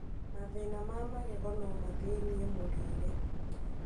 Mathĩna ma magego nomathĩnie mũrĩre